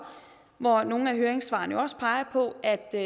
hvor nogle af høringssvarene også peger på at der